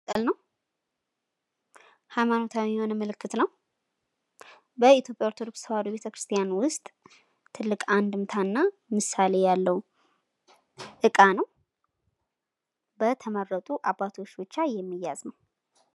መስቀል ነው ፤ ሃይማኖታዊ የሆነ ምልክት ነው፤ በኢትዮጵያ ኦርቶዶክስ ተዋሕዶ ቤተክርስቲያን ዉስጥ ትልቅ አንድምታ እና ምሳሌ ያለው እቃ ነዉ ፤ በተመረጡ አባቶች ብቻ የሚያዝ ነው።